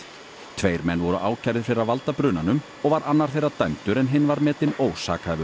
tveir menn voru ákærðir fyrir að valda brunanum og var annar þeirra dæmdur en hinn var metinn